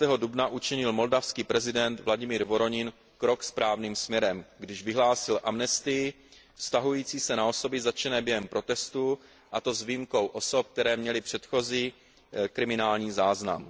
15. dubna učinil moldavský prezident Vladimir Voronin krok správným směrem, když vyhlásil amnestii vztahující se na osoby zatčené během protestů, a to s výjimkou osob, které měly předchozí kriminální záznam.